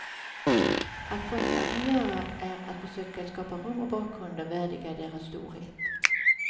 Allt konstnären kan göra är att försöka skapa rum och bakgrunder värdiga deras storhet.